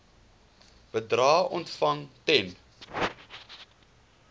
bedrae ontvang ten